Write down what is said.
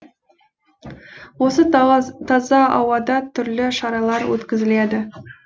осы таза ауада түрлі шаралар өткізіледі